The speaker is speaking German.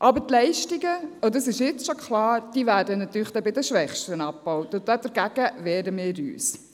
Aber die Leistungen – dies ist jetzt schon klar – werden bei den Schwächsten abgebaut und dagegen wehren wir uns.